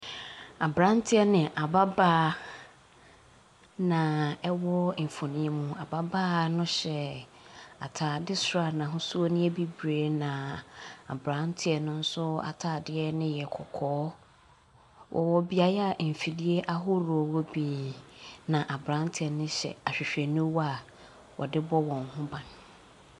Aberanteɛ ne ababaawa na ɛwɔ mfonin yi mu. Ababaawa ne hyɛ ataare soro a n’ahosuo ne yɛ bibire na aberanteɛ no nso ataare yɛ kɔkɔɔ. wɔwɔ beaeɛ a mfiri ahorow wɔ pii, na aberanteɛ ne hyɛ ahwehwɛniwa a wɔde bɔ wɔn ho ban.